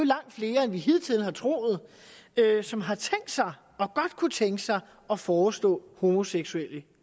langt flere end vi hidtil har troet som har tænkt sig og godt kunne tænke sig at forestå homoseksuelle